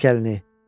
Çək əlini.